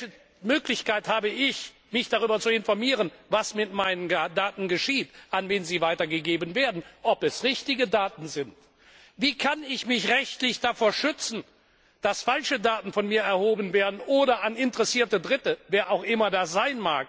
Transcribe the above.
Welche Möglichkeit habe ich, mich darüber zu informieren, was mit meinen Daten geschieht, an wen sie weitergegeben werden, ob es richtige Daten sind? Wie kann ich mich rechtlich davor schützen, dass falsche Daten von mir erhoben werden oder an interessierte Dritte wer auch immer das sein mag